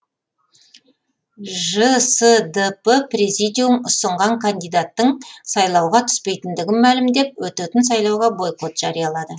жсдп президиум ұсынған кандидаттың сайлауға түспейтіндігін мәлімдеп өтетін сайлауға бойкот жариялады